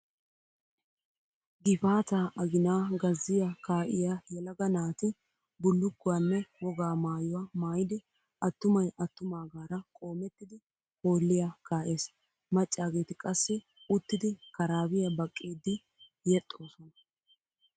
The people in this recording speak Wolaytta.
Gifaataa aginan gazziya kaa"iyaa yelaga naati bullukkuwaanne wogaa maayuwa maayidi attumay attumaagara qoomettidi hoolliya kaa'ees. Maccaageeti qassi uttidi karaabiyaa baqqiiddi yexxoosona.